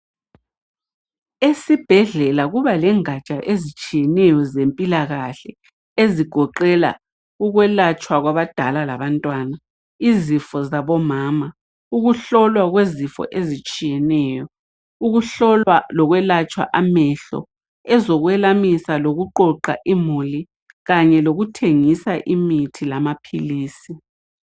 Esibhedlela kuba lengaja ezitshiyeneyo zempilakahle ukwelatshwa kwabadala labantwana izifo zabo mama ukuhlolwa kwezifo ezitshiyeneyo ukuhlolwa lokuyelatshwa amehlo eziyelamisa lokuqoqa imuli kanye lokuthengisa imithi lamapills